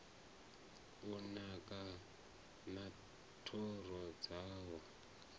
u naka na thoro dzawo